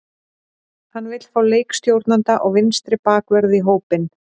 Hann vill fá leikstjórnanda og vinstri bakvörð í hópinn.